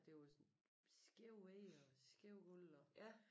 Det var sådan skæve vægge og skævt gulv og